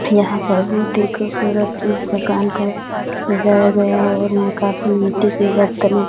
यहां पर बहुत ही खूबसूरत इस दुकान को सजाया गया है और यहां काफी मिट्टी की बरतने --